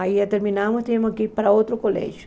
Aí terminávamos e tínhamos que ir para outro colégio.